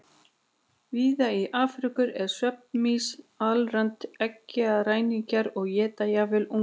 Víða í Afríku eru svefnmýs alræmdir eggjaræningjar og éta jafnvel unga.